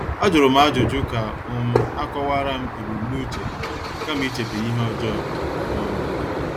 Ajurum ajụjụ ka um akowaram ebumnuche ha kama ichebe ihe ọjọọ. um